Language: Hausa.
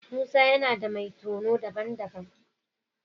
Musa yana da mai tono daban-daban.